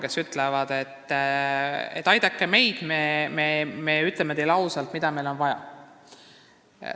Nad on öelnud, et aidake meid ja me ütleme teile ausalt, mida meil vaja on.